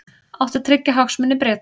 Átti að tryggja hagsmuni Breta